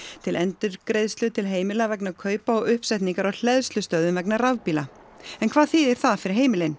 til endurgreiðslu til heimila vegna kaupa og uppsetningar á hleðslustöðvum vegna rafbíla en hvað þýðir það fyrir heimilin